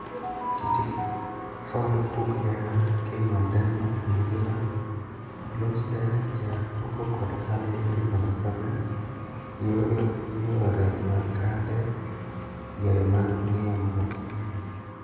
Kitgi: Ford Hook Giant, King of Denmark, New Zealand, Bloomsdale, Giant Noble kod Early Hybrid No. 7. YOR YORE MAG KANDE Yore mag ng'iyo malo